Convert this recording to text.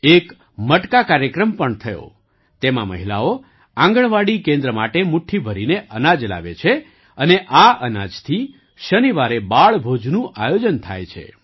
એક મટકા કાર્યક્રમ પણ થયો તેમાં મહિલાઓ આંગણવાડી કેન્દ્ર માટે મુઠ્ઠી ભરીને અનાજ લાવે છે અને આ અનાજથી શનિવારે બાળભોજનું આયોજન થાય છે